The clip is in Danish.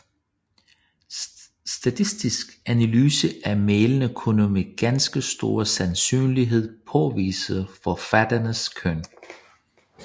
Statistisk analyse af mailene kunne med ganske stor sandsynlighed påvise forfatterenes køn